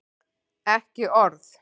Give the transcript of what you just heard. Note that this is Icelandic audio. Ekki orð!